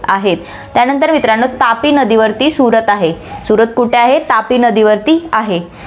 आहेत. त्यानंतर मित्रांनो, तापी नदीवरती सूरत आहे, सूरत कुठे आहे, तापीवरती आहे.